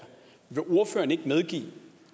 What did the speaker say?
vil ordføreren ikke medgive